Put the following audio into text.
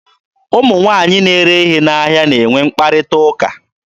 Ụmụ nwaanyị na-ere ihe n'ahịa na-enwe mkparịta ụka.